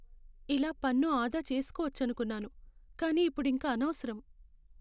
ఇలా పన్ను ఆదా చేసుకోవచ్చనుకున్నాను, కానీ ఇప్పుడింక అనవసరం.